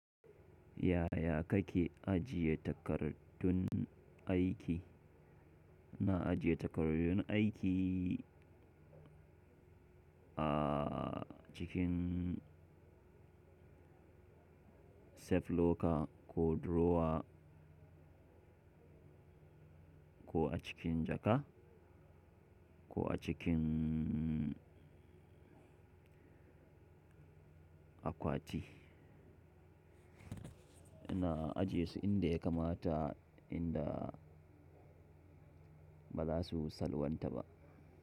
Yaya kake ajiye takardun aiki? Na ajiye takardun aiki ajikin safe locker ko drawer ko a cikin jaka ko a cikin akwati. Ina ajiye su inda ya kamata inda ba za su salwanta ba.